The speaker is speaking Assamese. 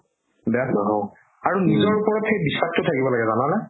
আৰু নিজৰ ওপৰত সেই বিশ্বাসতো থাকিব লাগে জানানে